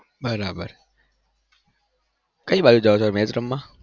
બરાબર કઈ બાજુ જાવ છો match રમવા?